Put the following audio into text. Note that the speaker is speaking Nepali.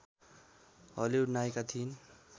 हलिउड नायिका थिइन्